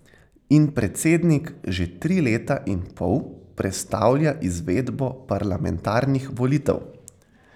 In predsednik že tri leta in pol prestavlja izvedbo parlamentarnih volitev.